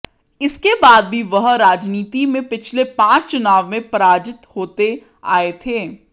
इसके बाद भी वह राजनीति में पिछले पांच चुनाव में पराजित होते आये थे